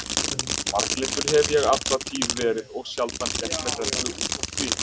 Marglyndur hef ég alla tíð verið og sjaldan gert mér rellu útaf því.